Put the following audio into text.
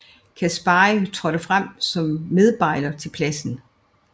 Caspari trådte frem som medbejler til pladsen